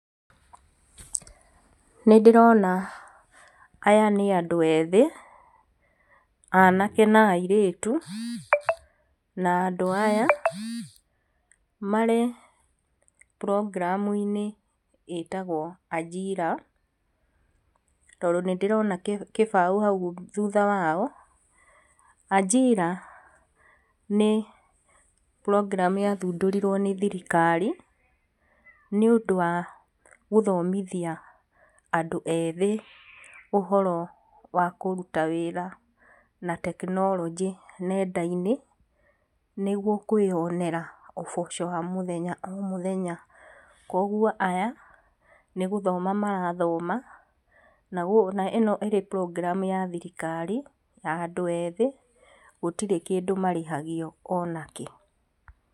Nĩ ndĩrona aya nĩ andũ ethĩ, anake na airĩtu, na andũ aya marĩ program-inĩ ĩtagwo Ajira, tondũ nĩ ndĩrona kĩbaũ hau thutha wao, Ajira nĩ program yathundũrirwo nĩ thirikari, nĩ ũndũ wa gũthomithia andũ ethĩ ũhoro wa kũruta wĩra na tekinoronjĩ nenda-inĩ, nĩguo kwĩyonera ũboco wa mũtheya o mũthenya, koguo aya nĩ gũthoma marathoma, na ĩno ĩrĩ program ya thirikari ya andũ ethĩ, gũtirĩ kĩndũ marĩhagio ona kĩ.